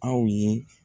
Aw ye